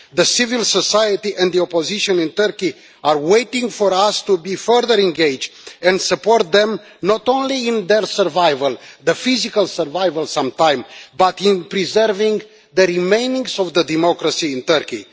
The civil society and the opposition in Turkey are waiting for us to be further engaged and support them not only in their survival the physical survival sometimes but in preserving the remains of the democracy in Turkey.